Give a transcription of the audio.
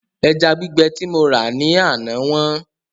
Ẹja gbígbẹ tí mo rà ní àná wọ́n